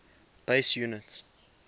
base units